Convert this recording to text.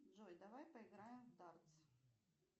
джой давай поиграем в дартс